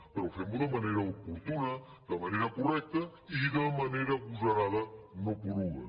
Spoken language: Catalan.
però fem·ho de manera oportuna de manera correcta i de manera ago·sarada no poruga